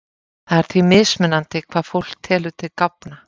Það er því mismunandi hvað fólk telur til gáfna.